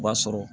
O b'a sɔrɔ